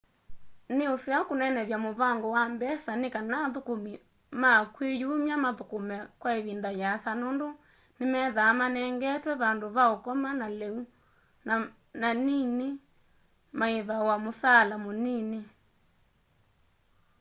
nĩ ũseo kũnenevya mũvango wa mbesa nĩkana athũkũmĩ ma kwĩ yũmya mathũkũme kwa ĩvĩnda yĩasa nũndũ nĩmethaa manengetwe vandũ va ũkoma na leũ na nanĩnĩ maĩvawa mũsaala mũnĩnĩ